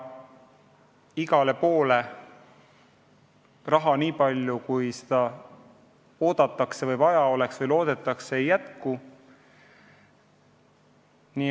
Igale poole raha nii palju, kui seda oodatakse või vaja oleks, ei jätku.